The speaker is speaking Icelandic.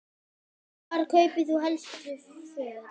Hvar kaupir þú helst föt?